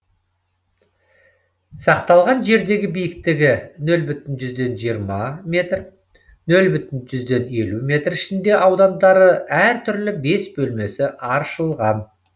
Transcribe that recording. сақталған жердегі биіктігі нөл бүтін жүзден жиырма метр нөл бүтін жүзден елу метр ішінде аудандары әр түрлі бес бөлмесі аршылған